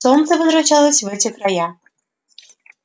солнце возвращалось в эти края